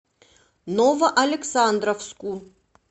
новоалександровску